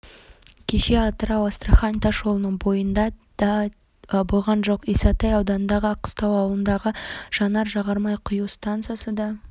кеше атырау-астрахань тасжолының бойында де те болған жоқ исатай ауданындағы аққыстау ауылындағы жанар-жағармай құю стансасы да